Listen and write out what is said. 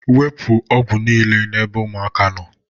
Wepu ọgwụ niile n'ebe ụmụaka nọ